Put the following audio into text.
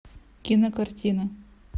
кинокартина